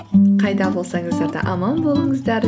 қайда болсаңыздар да аман болыңыздар